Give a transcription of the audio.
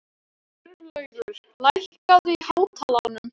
Sturlaugur, lækkaðu í hátalaranum.